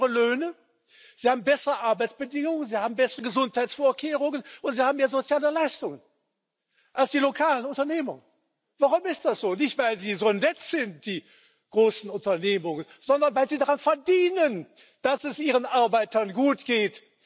Sie bieten höhere Löhne, sie haben bessere Arbeitsbedingungen, sie haben bessere Gesundheitsvorkehrungen und sie haben mehr soziale Leistungen als die lokalen Unternehmen. Warum ist das so? Nicht weil sie so nett sind, die großen Unternehmen, sondern weil sie daran verdienen, dass es ihren Arbeitern gut geht.